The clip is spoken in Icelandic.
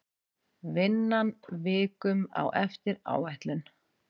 Vinnan vikum á eftir áætlun